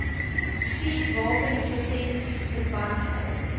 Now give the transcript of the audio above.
vuurwapenlisensies verband hou